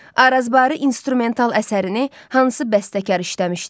Arazbarı instrumental əsərini hansı bəstəkar işləmişdi?